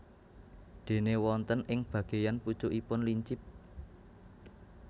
Déné wonten ing bageyan pucukipun lincip